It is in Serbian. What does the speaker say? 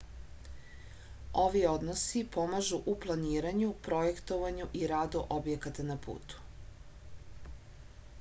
ovi odnosi pomažu u planiranju projektovanju i radu objekata na putu